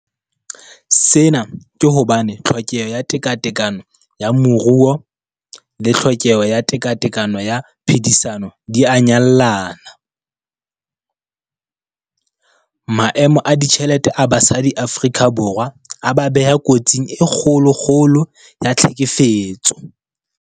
Sena ke hobane tlhokeho ya tekatekano ya moruo le tlhokeho ya tekatekano ya phedisano di a nyallana. Maemo a ditjhelete a basadi Afrika Borwa a ba beha kotsing e kgolokgolo ya tlhekefetso.